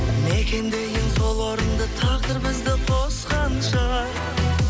мекендейін сол орынды тағдыр бізді қосқанша